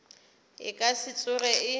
e ka se tsoge e